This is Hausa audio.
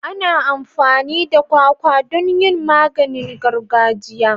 Ana amfani da kwakwa don yin maganin gargajiya.